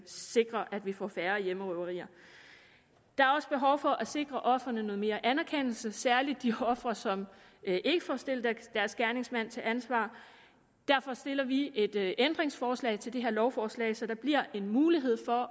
sikre at vi får færre hjemmerøverier der er også behov for at sikre ofrene noget mere anerkendelse særlig de ofre som ikke får stillet deres gerningsmand til ansvar derfor stiller vi et ændringsforslag til det her lovforslag så der bliver en mulighed for